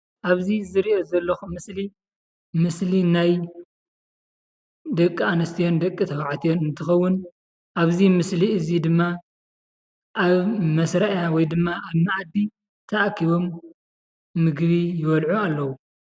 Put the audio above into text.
ኣብዚ ዝርኦ ዘለኩ ምስሊ ምስሊ ናይ ደቂ ኣንስትዮን ደቂ ተባዕትዮን እንትኸውን ኣብዚ ምስሊ እዚ ድማ ኣብ መስርያ ወይድማ ኣብ መኣዲ ተኣኪቦም ምግቢ ይበልዑ ኣለዉ።